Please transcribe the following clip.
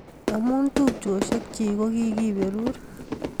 Amu tupchosiek chik kokikiberur